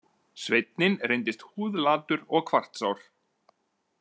Sveinninn reyndist húðlatur og kvartsár.